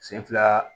Sen fila